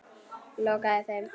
Lokaði þeim.